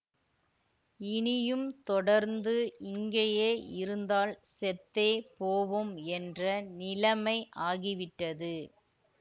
இனியும் தொடர்ந்து இங்கேயே இருந்தால் செத்தே போவோம் என்ற நிலமை ஆகிவிட்டது